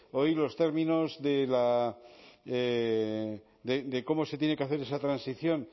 hoy los términos de cómo se tiene que hacer esa transición